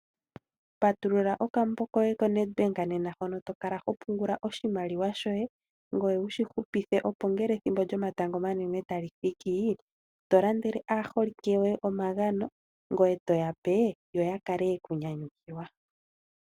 Patulula okambo koye ko Nedbank bank nena hono tokala ho pungula oshimaliwa shoye. Ngoye wushi hupithe opo ngele ethimbo lyomatango omanene tali thiki to landele aaholike yoye omagano ngoye toya pe yo ya kale yeku nyanyukilwa.